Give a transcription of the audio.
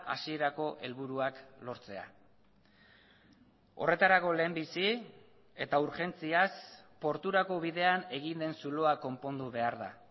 hasierako helburuak lortzea horretarako lehenbizi eta urgentziaz porturako bidean egin den zuloa konpondu behar da